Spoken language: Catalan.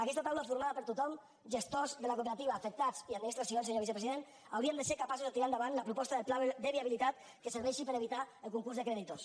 aquesta taula formada per tothom gestors de la cooperativa afectats i administracions senyor vicepresident hauríem de ser capaços de tirar endavant la proposta del pla de viabilitat que serveixi per evitar el concurs de creditors